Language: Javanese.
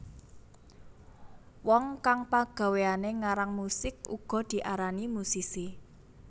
Wong kang pagawéane ngarang musik uga diarani musisi